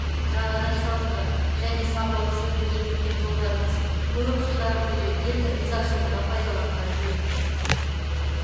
жаңадан салынған және сапалы жөндеуден өткен жолдарымыз көп жылдар бойы ел ризашылығына пайдаланған жөн